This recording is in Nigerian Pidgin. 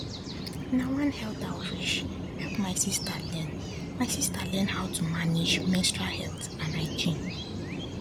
na one health outreach help my sister learn my sister learn how to manage menstrual health and hygiene